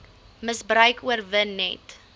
misbruik oorwin net